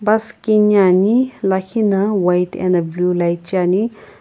bus kini ani lakhi na white ena blue light cheani.